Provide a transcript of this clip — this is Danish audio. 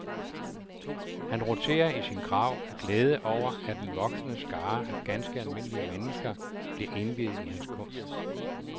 Han roterer i sin grav af glæde over, at en voksende skare af ganske almindelige mennesker bliver indviet i hans kunst.